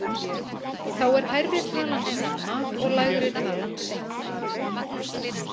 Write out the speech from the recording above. Þá er hærri talan snemma og lægri talan seint.